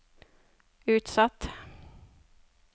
utsatt